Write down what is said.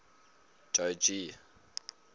jogee